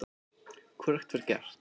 Hvorugt var gert.